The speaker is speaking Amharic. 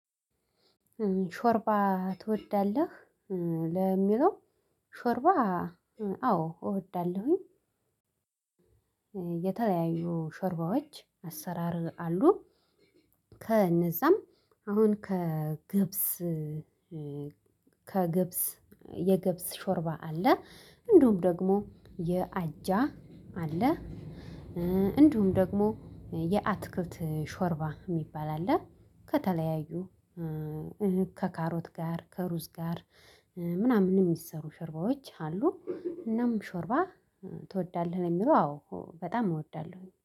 ሾርባ ትወዳለህ ለሚለው ሾርባ? አዎ እወዳለሁኝ። የተለያዩ ሾርባዎች አሰራር አሉ። ከእነዛም አሁን ከገብስ ከገብስ የገብስ ሾርባ አለ። እንዲሁም ደግሞ የአጃ አለ። እንዲሁም ደግሞ የአትክልት ሾርባ የሚባል አለ። ከተለያዩ ከካሮት ጋር ከሩዝ ጋር ምናምን የሚሰሩ ሾርባዎች አሉ። እናም ሾርባ ትወዳለህ ለሚለው አዎ በጣም እወዳለሁ